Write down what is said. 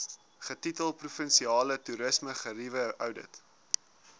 getitel provinsiale toerismegerieweoudit